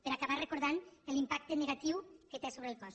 per acabar recordant l’impacte negatiu que té sobre el cos